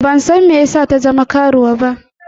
Ban san me yasa ta zama karuwa ba.